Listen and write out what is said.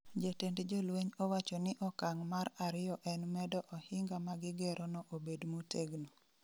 Jatend jolweny owacho ni okang' mar ariyo en medo ohinga ma gigero no obed motegno